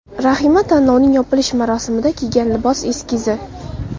Rahima tanlovning yopilish marosimida kiygan libos eskizi.